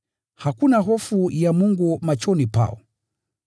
“Hakuna hofu ya Mungu machoni pao.”